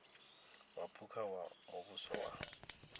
wa phukha wa muvhuso wa